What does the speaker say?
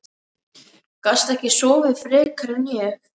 Gastu ekki sofið frekar en ég?